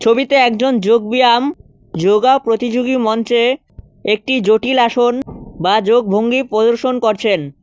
ছবিতে একজন যোগব্যায়াম যোগা প্রতিযোগী মঞ্চে একটি জটিল আসন বা যোগভঙ্গি প্রদর্শন করছেন।